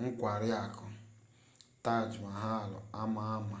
nkwari akụ taj mahal ama ama